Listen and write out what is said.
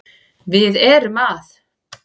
Við erum að